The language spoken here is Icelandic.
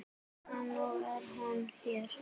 Og nú er hún hér.